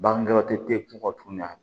Bagan dɔgɔtɔrɔ tɛ kungo tun ɲɛ